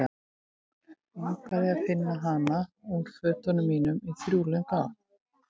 Langaði að finna hana úr fötunum mínum í þrjú löng ár.